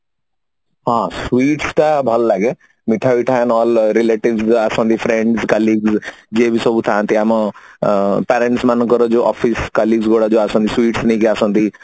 ହଁ sweets ତ ଭଲ ଲାଗେ ମିଠା ପିଠା ନହଲେ relatives ବି ଆସନ୍ତି friends କାଲି ଯିଏ ବି ସବୁ ଥାନ୍ତି ଆମ ଅ ଆମ parents ମାନଙ୍କର ଯୋଉ office colleagues ଗୁଡା ଯୋଉ ଆସନ୍ତି sweets ନେଇକି ଆସନ୍ତି